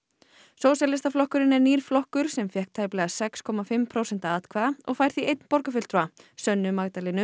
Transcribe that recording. sósíalistaflokkurinn er nýr flokkur sem fékk tæplega sex komma fimm prósent atkvæða og fær því einn borgarfulltrúa sönnu Magdalenu